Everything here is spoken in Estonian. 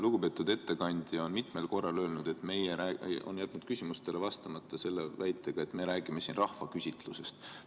Lugupeetud ettekandja on mitmel korral jätnud küsimustele vastamata selle väitega, et me räägime siin rahvaküsitlusest.